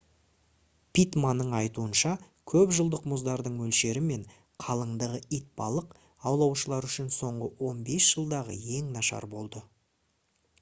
питтманның айтуынша көпжылдық мұздардың мөлшері мен қалыңдығы итбалық аулаушылар үшін соңғы 15 жылдағы ең нашар болды